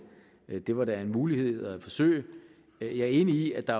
det var da en mulighed at forsøge jeg er enig i at der